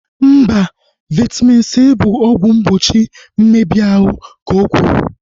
Mba, Vaitamin C bụ ọgwụ mgbochi mmebi ahụ, ka okwuru